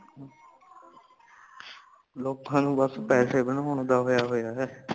ਲੋਕਾਂ ਨੂੰ ਬਸ ਪੈਸੇ ਬਣਨੋਂ ਦਾ ਹੋਇਆ ਵਞੇ